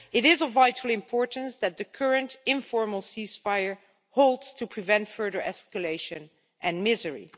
It is of vital importance that the current informal ceasefire holds, to prevent further escalation and misery.